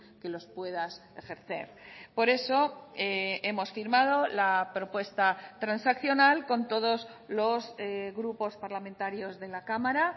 que los puedas ejercer por eso hemos firmado la propuesta transaccional con todos los grupos parlamentarios de la cámara